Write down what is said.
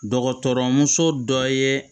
Dɔgɔtɔrɔmuso dɔ ye